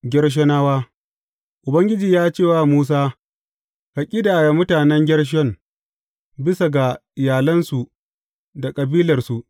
Gershonawa Ubangiji ya ce wa Musa, Ka ƙidaya mutanen Gershon bisa ga iyalansu da kabilarsu.